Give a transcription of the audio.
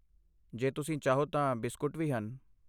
ਜੇ ਤੁਸੀਂ ਚਾਹੋ ਤਾਂ ਬਿਸਕੁਟ ਵੀ ਹਨ।